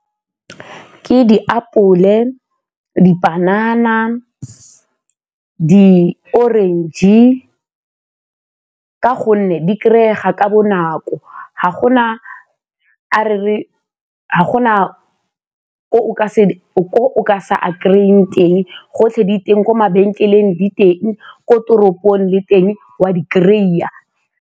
Ke diapole, dipanana, di-orange ka gonne di kry-ega ka bonako, ga gona ko o ka se a kry-eng teng gotlhe diteng, ko mabenkeleng diteng, ko toropong le teng wa di kry-a.